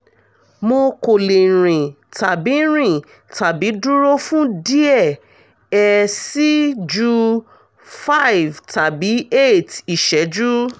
mo ko le rin tabi rin tabi duro fun diẹ ẹ sii ju five tàbi eight ṣẹju